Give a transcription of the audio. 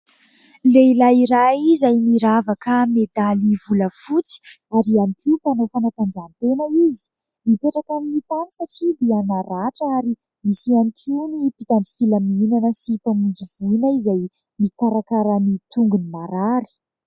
Lehilahy iray izay miravaka medaly volafotsy ary ihany koa mpanao fanatanjahantena izy. Mipetraka amin'ny tany satria dia naratra ary misy ihany koa ny mpitandro filaminana sy mpamonjy voina izay mikarakara ny tongony marary.